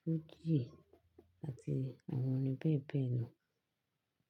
fújì àti àwọn orin bẹ́ẹ̀bẹ́ẹ̀lọ̀.